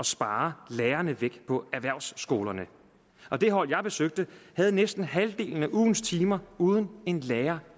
spare lærerne væk på erhvervsskolerne det hold jeg besøgte havde næsten halvdelen af ugens timer uden en lærer